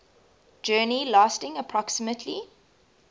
journey lasting approximately